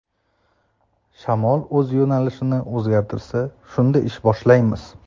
Shamol o‘z yo‘nalishini o‘zgartirsa shunda ish boshlaymiz.